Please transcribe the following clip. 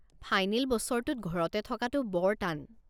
Final বছৰটোত ঘৰতে থকাটো বৰ টান।